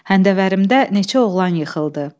Həndəvərimdə neçə oğlan yıxıldı.